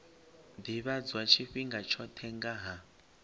ḓivhadzwa tshifhinga tshoṱhe nga ha